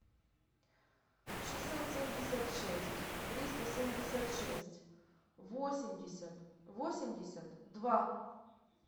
шестьсот семьдесят шесть триста семьдесят шесть восемьдесят восемьдесят два